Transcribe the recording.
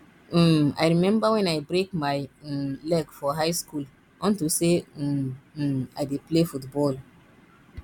um i remember wen i break my um leg for high school unto say um um i dey play football